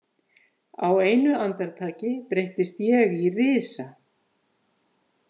Á einu andartaki breytist ég í risa.